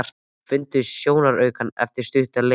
Þeir fundu sjónaukann eftir stutta leit.